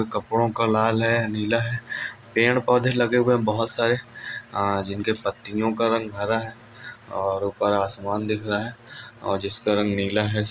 कपड़ों का लाल है पेड़ पौधे लगे हुए बहुत सारे जिनके पत्तियां का रंग भरा है और ऊपर आसमान दिख रहा है